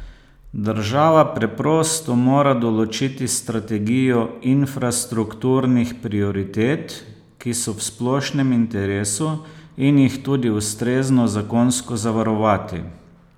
Država preprosto mora določiti strategijo infrastrukturnih prioritet, ki so v splošnem interesu, in jih tudi ustrezno zakonsko zavarovati.